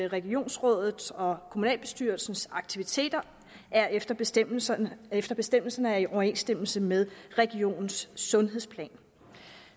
regionsrådet og kommunalbestyrelsens aktiviteter efter bestemmelserne efter bestemmelserne er i overensstemmelse med regionens sundhedsplan